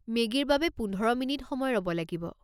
মেগীৰ বাবে পোন্ধৰ মিনিট সময় ৰ'ব লাগিব।